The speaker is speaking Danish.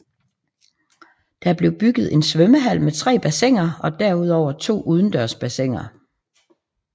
Der blev bygget en svømmehal med tre bassiner og derudover to udendørs bassiner